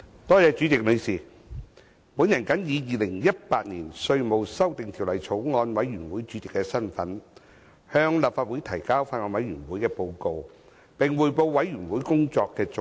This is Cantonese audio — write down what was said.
代理主席，我謹以《2018年稅務條例草案》委員會主席的身份，向立法會提交法案委員會的報告，並匯報法案委員會工作的重點。